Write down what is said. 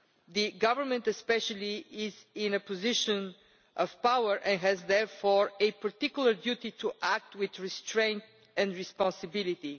The government, especially, is in a position of power and has therefore a particular duty to act with restraint and responsibility.